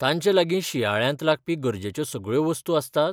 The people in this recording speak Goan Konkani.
तांचे लागीं शिंयाळ्यांत लागपी गरजेच्यो सगळ्यो वस्तू आसतात?